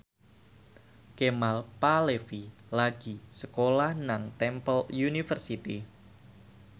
Kemal Palevi lagi sekolah nang Temple University